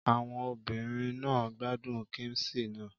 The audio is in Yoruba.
Àwọn obìnrin náà gbádùn kíḿṣì náà.